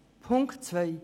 Punkt 2